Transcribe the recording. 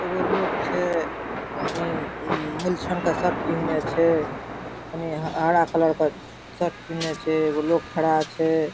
एगो लोक छै उम्म मेलछन के शर्ट पहिनले छै तनी हरा कलर के शर्ट पहिनले छै एगो लोक ठड़ा छै।